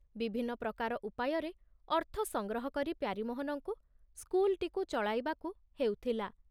ବିଭିନ୍ନ ପ୍ରକାର ଉପାୟରେ ଅର୍ଥ ସଂଗ୍ରହ କରି ପ୍ୟାରୀମୋହନଙ୍କୁ ସ୍କୁଲଟିକୁ ଚଳାଇବାକୁ ହେଉଥିଲା।